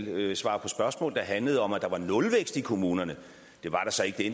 og svare på spørgsmål der handlede om at der var en nulvækst i kommunerne det var der så ikke det